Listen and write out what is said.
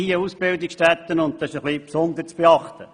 Es sind Ausbildungsstätten, und diese haben besondere Bedürfnisse.